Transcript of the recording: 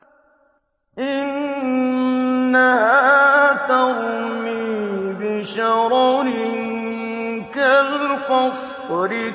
إِنَّهَا تَرْمِي بِشَرَرٍ كَالْقَصْرِ